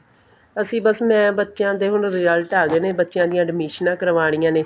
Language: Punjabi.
ਅਸੀਂ ਬੱਸ ਮੈਂ ਬੱਚਿਆਂ ਦੇ ਹੁਣ result ਆ ਗਏ ਨੇ ਬੱਚਿਆਂ ਦੀਆਂ ਅਡਮੀਸ਼ਨਾ ਕਰਵਾਣੀਆਂ ਨੇ